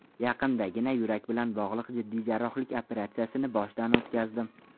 Yaqindagina yurak bilan bog‘liq jiddiy jarrohlik operatsiyasini boshdan o‘tkazdim.